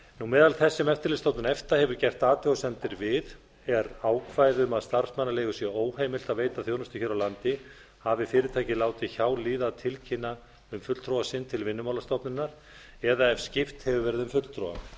meðal þess sem eftirlitsstofnun efta hefur gert athugasemdir við er ákvæði um að starfsmannaleigu sé óheimilt að veita þjónustu hér á landi hafi fyrirtækið látið hjá líða að tilkynna um fulltrúa sinn til vinnumálastofnunar eða ef skipt hefur verið um fulltrúa telur